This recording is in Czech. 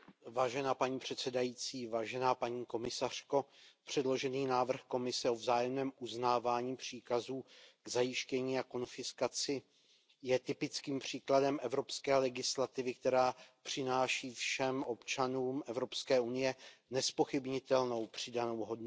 Paní předsedající, paní komisařko, předložený návrh Komise o vzájemném uznávání příkazů k zajištění a konfiskaci je typickým příkladem evropské legislativy, která přináší všem občanům Evropské unie nezpochybnitelnou přidanou hodnotu.